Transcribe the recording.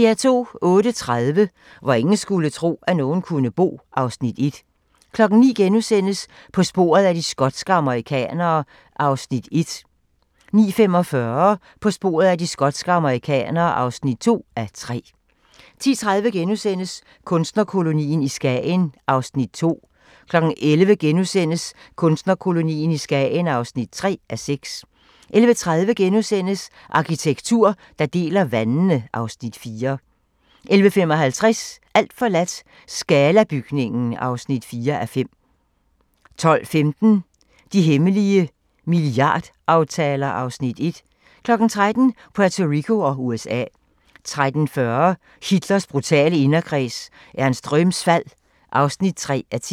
08:30: Hvor ingen skulle tro, at nogen kunne bo (Afs. 1) 09:00: På sporet af de skotske amerikanere (1:3)* 09:45: På sporet af de skotske amerikanere (2:3) 10:30: Kunstnerkolonien i Skagen (2:6)* 11:00: Kunstnerkolonien i Skagen (3:6)* 11:30: Arkitektur, der deler vandene (Afs. 4)* 11:55: Alt forladt – Scala-bygningen (4:5) 12:15: De hemmelige milliardaftaler (Afs. 1) 13:00: Puerto Rico og USA 13:40: Hitlers brutale inderkreds – Ernst Röhms fald (3:10)